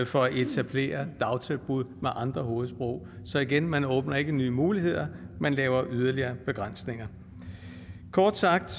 for at etablere dagtilbud med andre hovedsprog så igen man åbner ikke nye muligheder man laver yderligere begrænsninger kort sagt